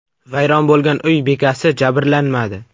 Vayron bo‘lgan uy bekasi jabrlanmadi.